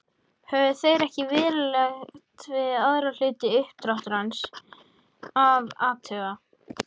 Höfðu þeir ekkert verulegt við aðra hluta uppdráttarins að athuga.